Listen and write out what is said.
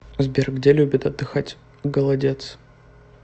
сбер где любит отдыхать голодец